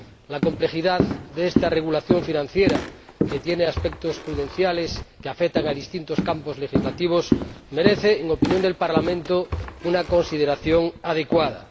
La complejidad de esta regulación financiera, que tiene aspectos prudenciales que afectan a distintos campos legislativos, merece, en opinión del Parlamento, una consideración adecuada.